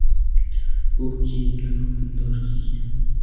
Bu kiyimni hukmdor kiygan.